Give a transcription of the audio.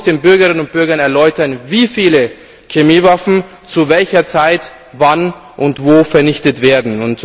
Man muss den Bürgerinnen und Bürgern erläutern, wie viele Chemiewaffen zu welcher Zeit wann und wo vernichtet werden.